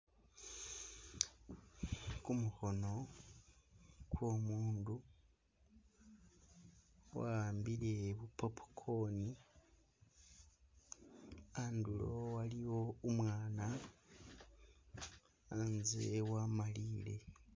Gumukhono gwo umundu gwahambile bu popcorn handulo haliwo umwana hanze wamaliyile.